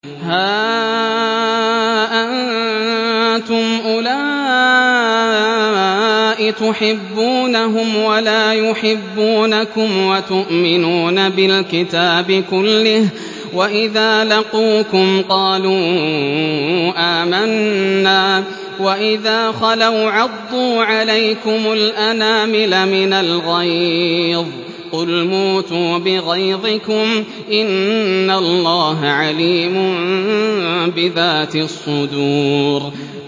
هَا أَنتُمْ أُولَاءِ تُحِبُّونَهُمْ وَلَا يُحِبُّونَكُمْ وَتُؤْمِنُونَ بِالْكِتَابِ كُلِّهِ وَإِذَا لَقُوكُمْ قَالُوا آمَنَّا وَإِذَا خَلَوْا عَضُّوا عَلَيْكُمُ الْأَنَامِلَ مِنَ الْغَيْظِ ۚ قُلْ مُوتُوا بِغَيْظِكُمْ ۗ إِنَّ اللَّهَ عَلِيمٌ بِذَاتِ الصُّدُورِ